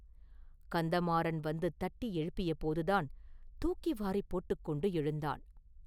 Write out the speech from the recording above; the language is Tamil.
கந்தமாறன் வந்து தட்டி எழுப்பியபோதுதான் தூக்கிவாரிப் போட்டுக் கொண்டு எழுந்தான்.